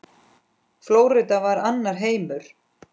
Flórída var annar heimur.